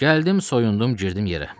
Gəldim, soyundum, girdim yerə.